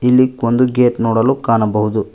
ಇಲ್ಲಿ ಒಂದು ಗೇಟ್ ನೋಡಲು ಕಾಣಬಹುದು.